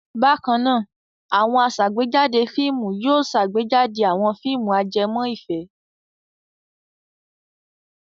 Bákan náà, àwọn aṣàgbéjáde fíìmù yóò ṣàgbéjáde àwọn fíìmù ajẹmọ́ ìfẹ́.